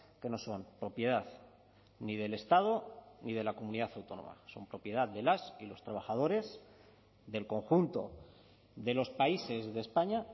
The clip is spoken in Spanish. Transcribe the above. que no son propiedad ni del estado ni de la comunidad autónoma son propiedad de las y los trabajadores del conjunto de los países de españa